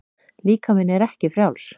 Líkaminn er ekki frjáls.